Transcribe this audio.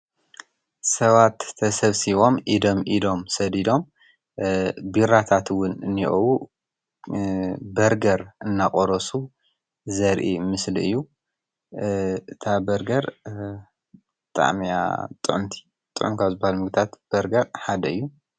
ሰባት ተሰብሲቦም ኢደም ኢዶም ሰዲዶም ቢራታትውን እኒእዉ በርገር እናቖረሱ ዘርኢ ምስሊ እዩ እታ በርገር ጣሜያ ጠንቲ ጠንካዝል ምግታት በርገር ሓደ እዩ።